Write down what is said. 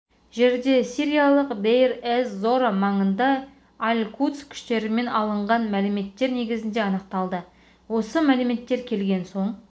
жерде сириялық дейр-эз-зора маңында аль кудс күштерімен алынған мәліметтер негізінде анықталды осы мәліметтер келген соң